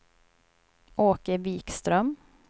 Åke Wikström